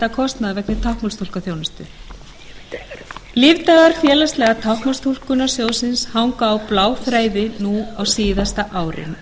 að mæta kostnaði vegna táknmálstúlkunar lífdagar félagslega táknmálstúlkunarsjóðsins hanga á bláþræði nú á síðasta árinu